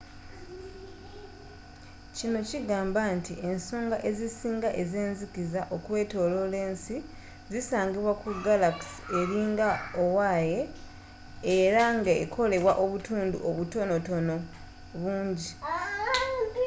kino kigamba nti ensonga ezisinga ezenzikiza okwetoolola ensi zisangibwa ku galaxe eringa owaye” era ngekolebwa obutundutundu obutonotpono bungi